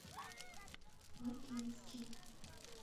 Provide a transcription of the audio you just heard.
лакинске